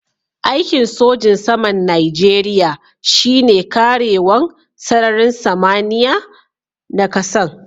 Aiki'n sojin saman Nijeriya shine karewan sararin samaniya na kasan.